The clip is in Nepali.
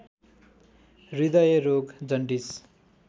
हृदयरोग जन्डिस